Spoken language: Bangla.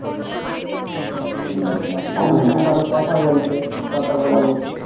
তুমি ধরো কথা বলতে কথা বলেনি